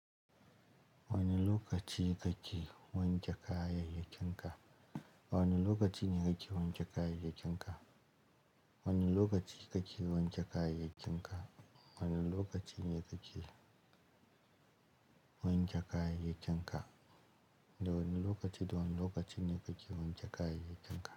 Wane lokaci kake wanke kayayyakin ka? Wane lokacine kake wanke kayayyakin ka? Wane lokaci kake wanke kayayyakin ka? Wane lokacin yake wanke kayayyakin ka? Da wane lokaci, da wane lokacin kake wanke kayayyakin ka?